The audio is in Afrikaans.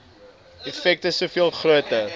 effek soveel groter